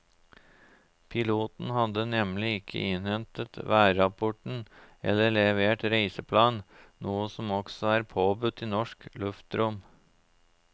Piloten hadde nemlig ikke innhentet værrapport eller levert reiseplan, noe som også er påbudt i norsk luftrom.